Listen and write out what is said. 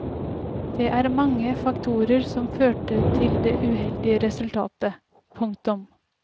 Det er mange faktorer som førte til det uheldige resultatet. punktum